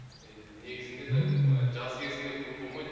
енді негізінде де мына жаз кезінде көп бомайды